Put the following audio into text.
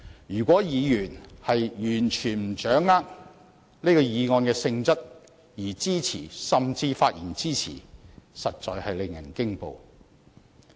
如果議員完全不掌握這議案的性質便支持，甚至發言支持，這實在令人驚恐。